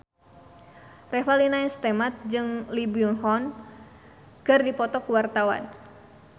Revalina S. Temat jeung Lee Byung Hun keur dipoto ku wartawan